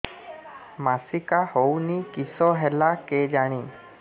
ମାସିକା ହଉନି କିଶ ହେଲା କେଜାଣି